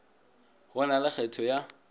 go na le kgetho ya